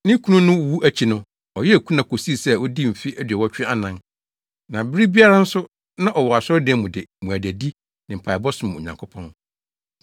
Ne kunu no wu akyi no, ɔyɛɛ kuna kosii sɛ odii mfe aduɔwɔtwe anan, na bere biara nso na ɔwɔ asɔredan mu de mmuadadi ne mpaebɔ som Onyankopɔn.